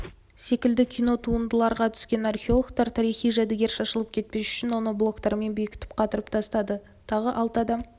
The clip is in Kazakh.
секілді кино туындыларға түскен археологтар тарихи жәдігер шашылып кетпес үшін оны блоктармен бекітіп қатырып тастады тағы алты адам